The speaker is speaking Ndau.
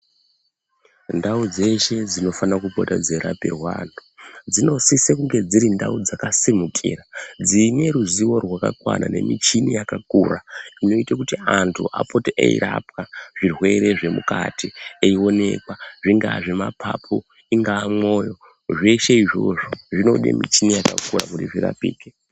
Ndau dzeshe dzinopota dzeirapirwa vamtu dzinosisa dzirindau dzakasimukira dxineruzivo rwakakwana nemichini yakakura inoita kuti vantu vapote veirapwa zvirwere zvemukati eionekwa zvingaa zvemapapu ungaa mwoyo zveshe izvozvo zvainoda michini yakakura kuti zvirapike.